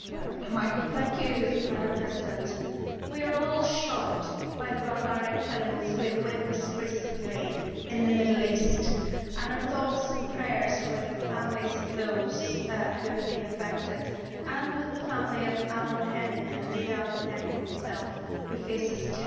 Madam President, we are all shocked by the barbaric killings we have witnessed recently in the Middle East and our thoughts and prayers are with the families who have been affected, and with the family of Alan Henning and indeed Alan Henning himself who faces a terrible threat